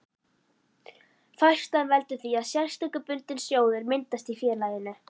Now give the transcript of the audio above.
Færslan veldur því að sérstakur bundinn sjóður myndast í félaginu.